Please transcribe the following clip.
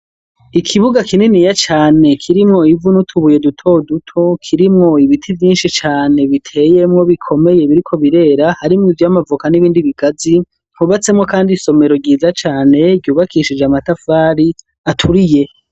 Ikibuga kininiya cane kirimwo ivu nutubuye duto duto kirimwo ibiti Vyinshi cane biteyemwo bikomeye biriko birera hari mw izu y'amavuka n'ibindi bigazi. Hubatsemo kandi isomero ryiza cane ryubakishije amatafari aturiye.